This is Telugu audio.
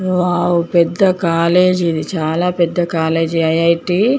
వోవ్ పెద్ద కాలేజీ ఇది. చాల పెద్ద కాలేజీ ఐ. ఐ. టీ .